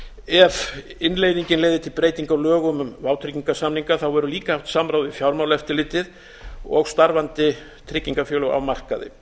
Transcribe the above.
ef innleiðingin leiðir til breytinga á lögum um vátryggingarsamninga verður líka haft samráð við fjármálaeftirlitið og starfandi tryggingafélög á markaði